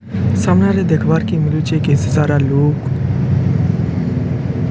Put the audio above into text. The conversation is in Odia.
ସାମ୍ନାରେ ଦେଖିବାର୍ କେ ମିଳୁଚି ସାରା ଲୋକ୍